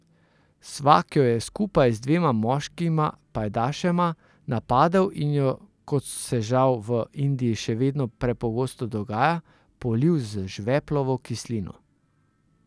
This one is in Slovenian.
Svak jo je skupaj z dvema moškima pajdašema napadel in jo, kot se žal v Indiji še vedno prepogosto dogaja, polil z žveplovo kislino.